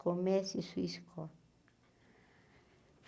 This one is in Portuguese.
Comece sua escola.